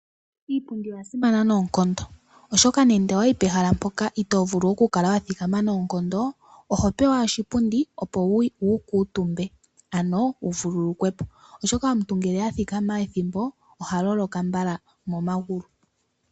Iipundi oya simana noonkondo, oshoka nando owa yi pehala mpoka itoo vulu okukala wa thikama noonkondo, oho pewa oshipundi opo wu kuutumbe, ano wu vululukwe po, oshoka omuntu ngele a thikama ethimbo oha loloka momagulu.